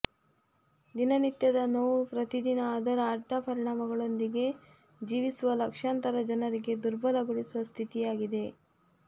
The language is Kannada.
ದಿನನಿತ್ಯದ ನೋವು ಪ್ರತಿದಿನ ಅದರ ಅಡ್ಡ ಪರಿಣಾಮಗಳೊಂದಿಗೆ ಜೀವಿಸುವ ಲಕ್ಷಾಂತರ ಜನರಿಗೆ ದುರ್ಬಲಗೊಳಿಸುವ ಸ್ಥಿತಿಯಾಗಿದೆ